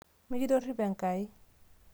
mikitorripo Enkai